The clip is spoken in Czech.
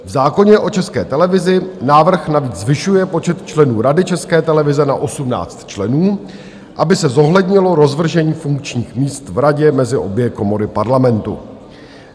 V zákoně o České televizi návrh navíc zvyšuje počet členů Rady České televize na 18 členů, aby se zohlednilo rozvržení funkčních míst v radě mezi obě komory Parlamentu.